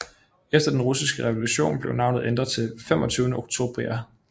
Efter den russiske revolution blev navnet ændret til 25 Oktiabrya